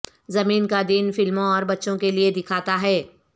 زمین کا دن فلموں اور بچوں کے لئے دکھاتا ہے